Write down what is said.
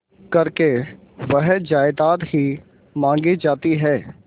करके वह जायदाद ही मॉँगी जाती है